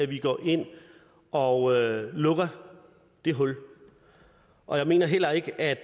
vi går ind og lukker det hul og jeg mener heller ikke at